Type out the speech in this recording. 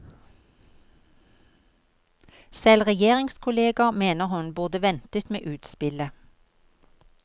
Selv regjeringskolleger mener hun burde ventet med utspillet.